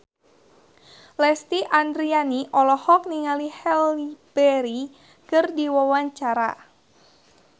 Lesti Andryani olohok ningali Halle Berry keur diwawancara